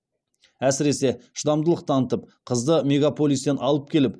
әсіресе шыдамдылық танытып қызды мегаполистен алып келіп